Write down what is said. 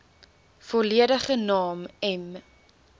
volledige naam m